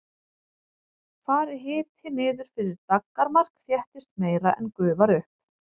fari hiti niður fyrir daggarmark þéttist meira en gufar upp